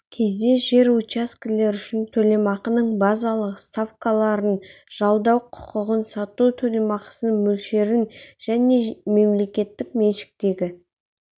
кезде жер учаскелер үшін төлемақының базалық ставкаларын жалдау құқығын сату төлемақысының мөлшерін және мемлекеттік меншіктегі